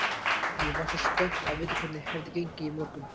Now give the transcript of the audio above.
Ég var svo spennt að vita hvernig hefði gengið í morgun.